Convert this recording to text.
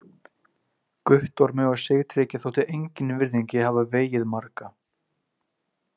Guttormi og Sigtryggi þótti engin virðing í að hafa vegið marga.